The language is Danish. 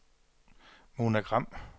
Mona Gram